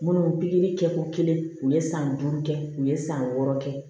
Munnu pikiri kɛ ko kelen u ye san duuru kɛ u ye san wɔɔrɔ kɛ